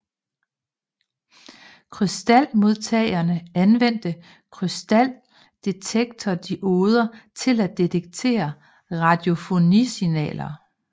Krystalmodtagerne anvendte krystaldetektordioder til at detektere radiofonisignaler